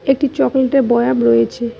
একটি চকলেটের বয়াম রয়েছে।